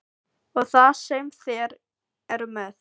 Og það sem þeir eru með.